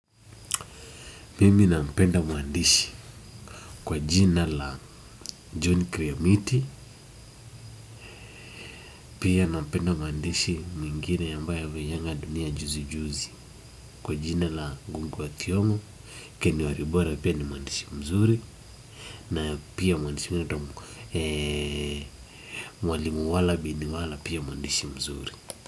Mimi nampenda mwandishi kwa jina la John Kriomiti, pia nampenda mwandishi mwingine ambaye amejenga dunia juzi juzi kwa jina la Ngungi wa Thiongo, Ken Walibora pia ni mwandishi mzuri na pia mwandishi mwingine anaitwa mwalimu Wala bin Wala pia ni mwandishi mzuri.